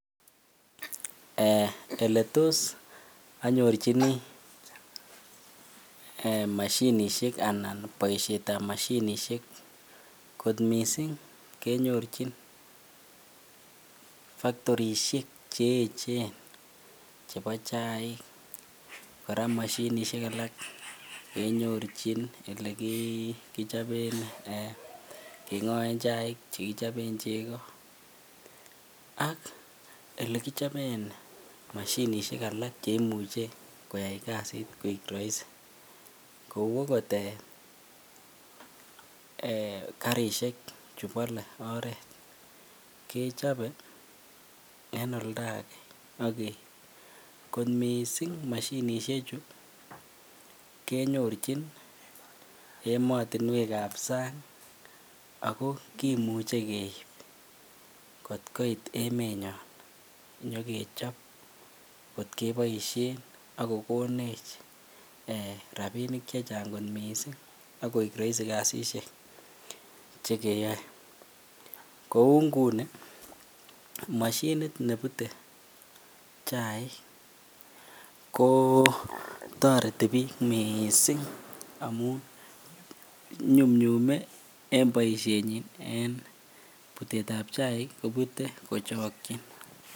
Eletos onyorchini eeh mashinishek anan boishetab moshinishek kot mising kenyorchin factorishek che echen chebo chaik, kora mashinishek alak chekinyorchin elekichoben kengoen chaik chekichoben cheko ak elekichoben mashinishek alak cheimuche koyai kasit koik roisi kou okot karrishek chubole oreet kechobe en oldake ak keib, kot mising moshinishechu kenyorchin emeotinwekab sang ak ko kimuche keib kot koit emenyon nyokechob kot keboishen ak kokonech eeh rabinik chechang kot mising ak koik roisi kasishek chekeyoe, kouu nguni mashinit nebute chaik ko toreti biik mising amun nyumnyume en boishenyin en butetab chaik kobute kochokyin.